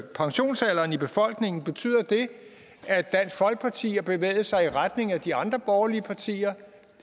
pensionsalderen i befolkningen betyder det at dansk folkeparti har bevæget sig i retning af de andre borgerlige partier